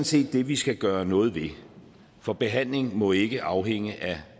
set det vi skal gøre noget ved for behandling må ikke afhænge af